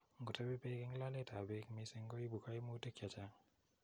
Ngotebi beek eng loleet ap beek missing koibu kaimutik chechaang'.